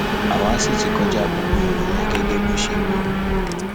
àwa sì ti kọjá gbogbo ìwọnyẹn gẹgẹ bó ṣe wí